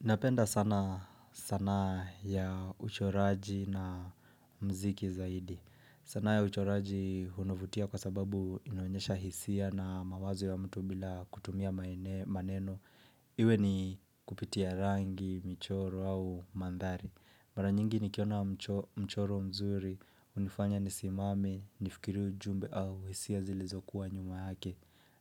Napenda sana sanaa ya uchoraji na mziki zaidi. Sana ya uchoraji hunavutia kwa sababu inoenyesha hisia na mawazo ya mtu bila kutumia maneno. Iwe ni kupitia rangi, michoro au mandhari. Mara nyingi nikiona mchoro mzuri, unifanya nisimame, nifikiru ujumbe au hisia zilizokuwa nyuma yake.